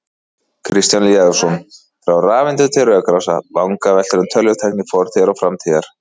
Kristján Leósson, Frá rafeindum til rökrása: Vangaveltur um tölvutækni fortíðar og framtíðar